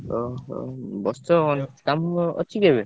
ଓହୋ ବସିଛ କଣ କାମ ଅଛି କି ଏବେ?